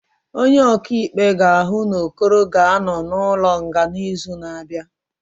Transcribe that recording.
Onye ọkaikpe ga-ahụ na Okoro ga-anọ n'ụlọ nga n'izu na-abịa